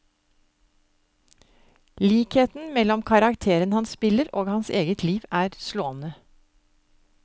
Likheten mellom karrakteren han spiller og hans eget liv, er slående.